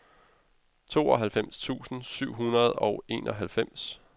tooghalvfems tusind syv hundrede og enoghalvfems